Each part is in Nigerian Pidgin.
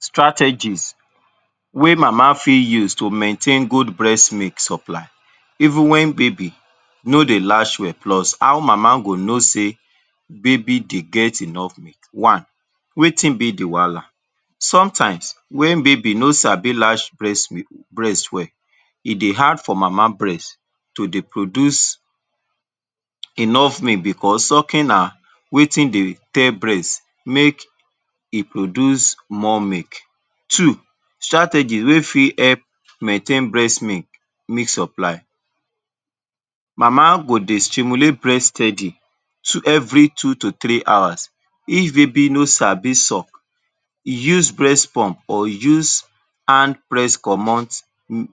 Strategies wey mama fit use to maintain good breast milk supply even wen baby no dey latch well, plus how mama go know sey baby dey get enough milk. One, wetin be the wahala? Sometimes, wen baby no sabi latch breast breast well, e dey hard for mama breast to dey produce enough milk becos sucking na wetin dey tell breast make e produce more milk. Two, strategy wey fit help maintain breast milk milk supply. Mama go dey stimulate breast steady two every two to three hours. If baby no sabi suck, use breast pump, or use hand press comot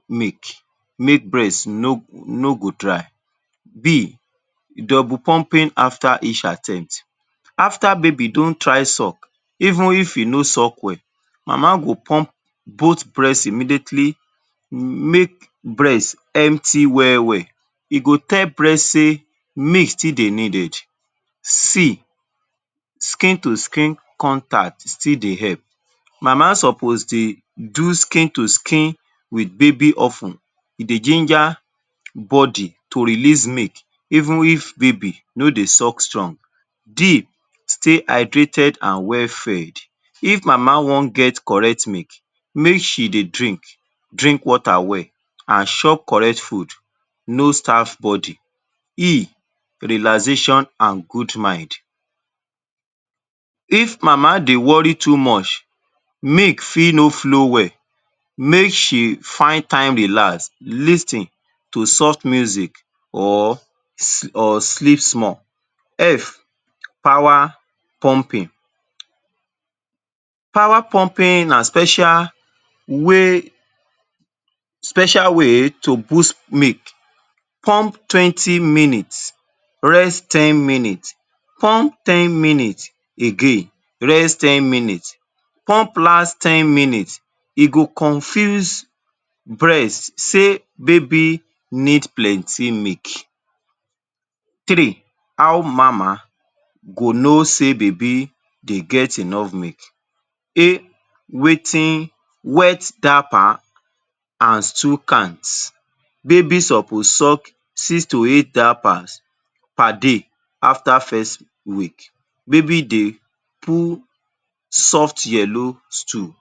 milk, make breast no no go dry. b. Double pumping after each attempt. After baby don try suck, even if e no suck well, mama go pump both breast immediately, make breast empty well-well. E go tell breast sey milk still dey needed. c. Skin to skin contact still dey help. Mama suppose dey do skin to skin with baby of ten. E dey ginger body to release milk even if baby no dey suck strong. d. Stay hydrated and well fed. If mama wan get correct milk, make she dey drink drink water well, an chop correct food, no starve body. e. Relaxation an good mind. If mama dey worry too much, milk fit no flow well. Make she find time relax, lis ten to soft music, or or sleep small. f. Power pumping. Power pumping na special way special way to boost milk. Pump twenty minutes, rest ten minutes. Pump ten minutes again, rest ten minutes. Pump last ten minutes. E go confuse breast sey baby need plenty milk. Three, how mama go know sey baby dey get enough milk. Wetin wet diaper, an stool count. Baby suppose suck six to eight diapers per day after first week. Baby dey poo soft yellow stool.